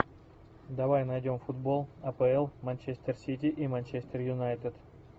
давай найдем футбол апл манчестер сити и манчестер юнайтед